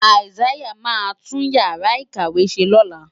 Isaiah máa tún Ìyàrá-ìkàwé ṣe lọ́la.